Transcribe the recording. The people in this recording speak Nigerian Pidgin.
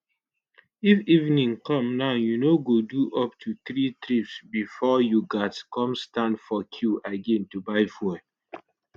if evening come now you no go do up to three trips bifor you gatz come stand for queue again to buy fuel